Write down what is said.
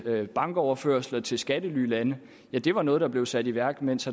via bankoverførsler til skattelylande det var noget der blev sat i værk mens